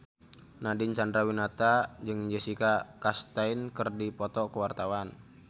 Nadine Chandrawinata jeung Jessica Chastain keur dipoto ku wartawan